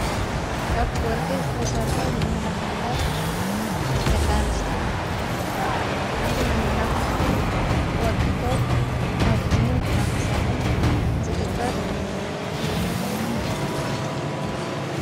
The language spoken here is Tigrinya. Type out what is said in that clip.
ካብ ወርቂ ዝተሠርሑ መመላኽዐታት ደቃንስቲዮ እቲ መመላኽዐቲ ወርቂ ኮፍ ኣብእዝንን ኣብክሳድን ዝግበር እዩ።